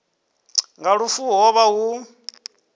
nga lufu ho vha hu